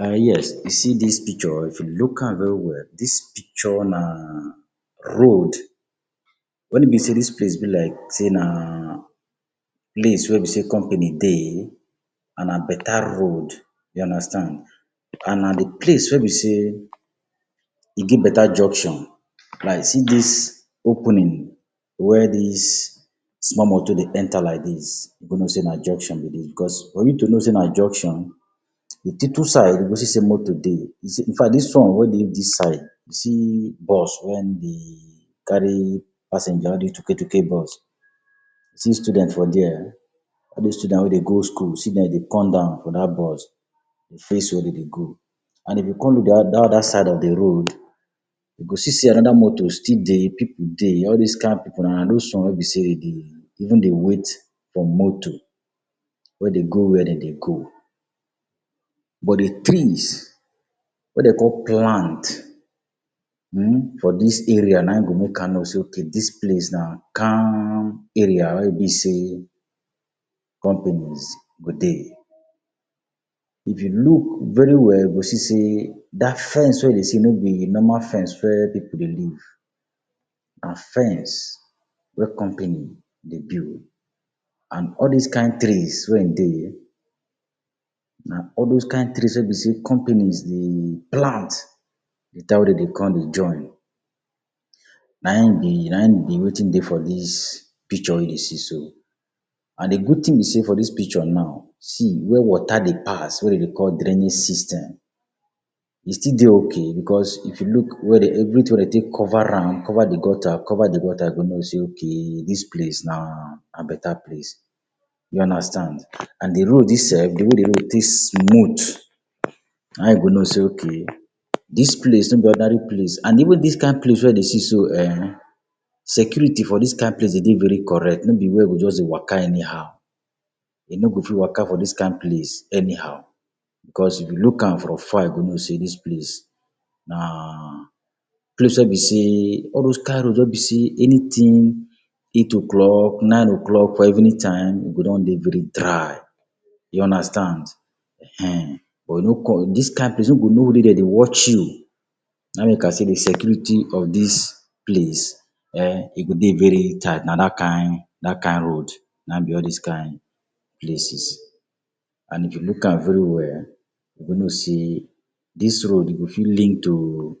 um yes you see dis picture, if you look am very well, dis picture na road. When e be sey dis place be like sey na place wey be sey company dey and na better road. You understand. And na de place wey be sey e get better junction. Like see dis opening where dis small motor dey enter like dis you go know sey na junction be dis. Because for me to know sey na junction, de two two side you go see sey motor dey. You see infact dis one wey dey dis side see bus when dey carry passenger all these tuketuke bus. See student for there. All those student wey dey go school, see dem dey come down for that bus dey face where dem dey go. And if you come look that other side of de road, you go see sey another motor still dey, pipu dey. All these kind pipu na na those one wey be sey dem even dey wait for motor wey dey go where dem dey go. But, de trees wey dem con plant um for dis area na hin go make am know sey okay dis place na calm area where e be sey companies go dey. If you look very well you go see sey that fence wey you dey see no be de normal fence where pipu dey live. Na fence wey company dey build. And all this kind trees wey hin dey na all those kind trees wey be sey companies dey plant de time wey dem dey come dey join. Na e be na e be wetin dey for dis picture wey you dey see so. And de good thing be sey for dis picture now, see where water dey pass wey dem dey call draining system. E still dey okay because if you look where dem everything wey dem take cover am, cover de gutter, cover de water, you go know sey okay dis place na na better place. You understand. And de road dis um de way de road dey smooth na you go know sey okay dis place no be ordinary place. And even dis kind place wey I dey see so um, security for dis kind place dey dey very correct. No be where you go just dey waka anyhow. E no go fit waka for dis kind place anyhow because if you look am from far, you go know sey dis place na place wey be sey, all those kind road wey be sey anything eight o’clock, nine o’clock or evening time, e go don dey very dry. You understand. Ehen. But dis kind place you no go know dem dey watch you. Na make I say de security of dis place um e go dey very tight. Na that kind that kind road na be all these kind places. And if you look am very well, you go know sey dis road go fit link to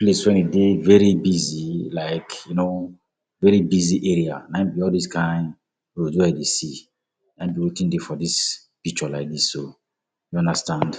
place wey e dey very busy like you know, very busy area. Na hin be all those kind road wey you dey see. Na hin be wetin dey for dis picture like dis so. You understand.